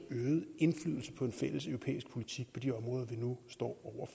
øget indflydelse på en fælles europæisk politik på de områder vi nu står